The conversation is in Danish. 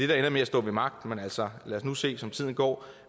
der ender med at stå ved magt men altså lad os nu se som tiden går